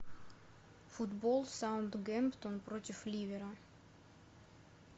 футбол саутгемптон против ливера